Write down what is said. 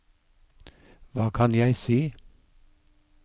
hva kan jeg si